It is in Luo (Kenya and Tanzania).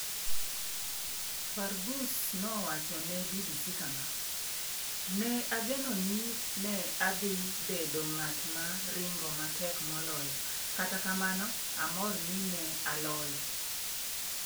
Fargus nowacho ne BBC kama: "Ne ageno ni ne adhi bedo ng'at ma ringo matek moloyo, kata kamano, amor ni ne aloyo".